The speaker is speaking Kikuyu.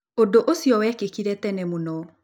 Ũndũ ũcio wekĩkire tene mũno.